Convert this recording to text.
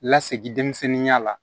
Lasegi denmisɛnninya la